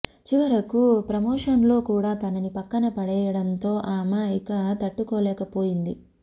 చివరకు ప్రమోషన్లో కూడా తనని పక్కన పడేయడంతో ఆమె ఇక తట్టుకోలేకపోయింది